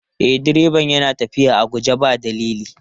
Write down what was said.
E, direban yana tafiya a guje ba dalili.